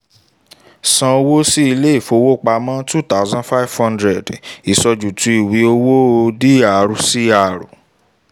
san owó sí ilé ìfowópamọ́ two thousand five hundred ìsojúùtú ìwé owó drcr